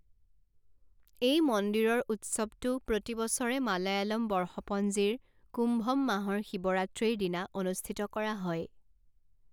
এই মন্দিৰৰ উৎসৱটো প্ৰতি বছৰে মালায়ালম বৰ্ষপঞ্জিৰ কুম্ভম মাহৰ শিৱৰাত্ৰিৰ দিনা অনুষ্ঠিত কৰা হয়।